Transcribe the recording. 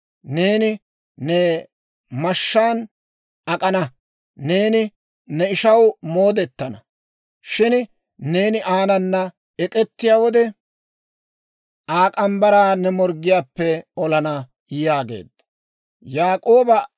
Neeni ne mashshaan ak'ana; Neeni ne ishaw moodetana. Shin neeni aanana ek'ettiyaa wode, Aa morge mitsa ne morggiyaappe olana» yaageedda.